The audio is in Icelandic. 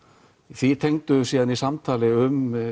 því tengdum við síðan í samtali um